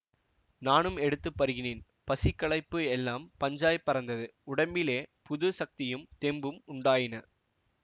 நானும் எடுத்து பருகினேன் பசி களைப்பு எல்லாம் பஞ்சாய்ப் பறந்தது உடம்பிலே புதிய சக்தியும் தெம்பும் உண்டாயின